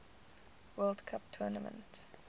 world cup tournament